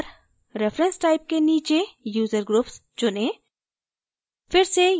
इस बार reference type के नीचे user groups चुनें